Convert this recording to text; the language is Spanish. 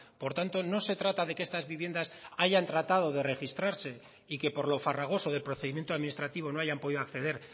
por tanto no se trata de que estas viviendas hayan tratado de registrarse y que por lo farragoso del procedimiento administrativo no hayan podido acceder